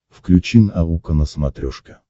включи наука на смотрешке